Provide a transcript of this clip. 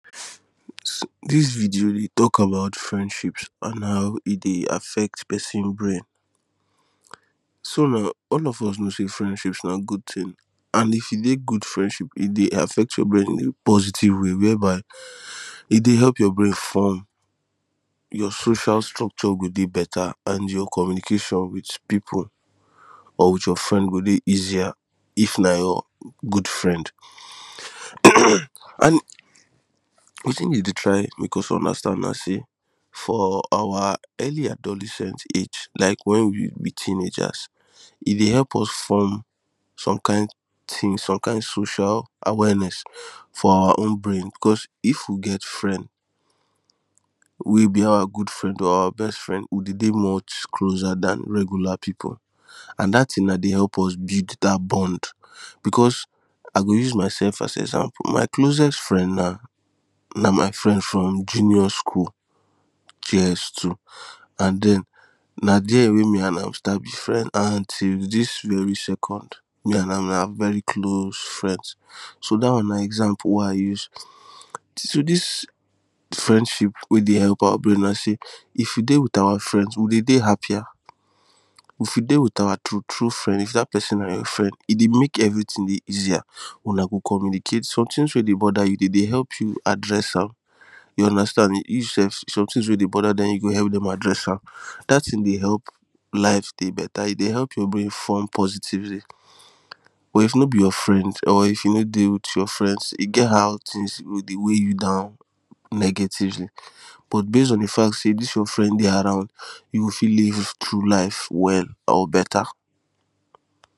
This video dey talk about friendship and how e dey affect person brain So na all of us know say friendships na good thing and if you dey good friendship e dey affect your brain in a positive way whereby e dey help your brain form your facial structure go dey better and your communication with people or with your friend go dey easier, If na your um good friend and wetin dem dey try make us understand na say for our early adolescence age like when we be teenagers e dey help us form some kind team some kind social awareness for our own brain because if we get friend wey be our good friend or our best friend we dey dey much closer than regular people and that thing na dey help us build that bond because I go use myself as example my closest friend now na my friend from junior school js two and then na there wey me and am start be friend and till this very second me and am na very close friend. So that one na example wey I use so this friendship wey dey help our brain like say if we dey with our friends we dey dey happier if we dey with our true true friend if that person na your friend e dey make everything dey easier Una go communicate somethings wey dey bother you dem dey help you address am you understand you sef somethings weydey bother dem you go help dem address am to that thing dey help life dey better e dey help your brain form positively but if no be your friend or if you no dey with your friends e get how things go dey weigh you down negatively but base on the fact say this your friend dey around you go fit live through life well or beta